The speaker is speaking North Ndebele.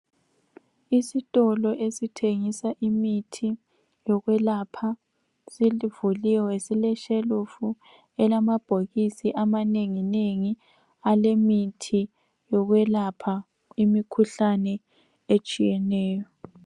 Isitolo esithengisa imithi yokwelapha sivuliwe sileshelufu elamabhokisi amanengi nengi alemithi yokwelapha imikhuhlane etshiyeneyo.